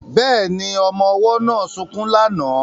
Bẹ́ẹ̀ni, ọmọ ọwọ́ náà sunkún lánàá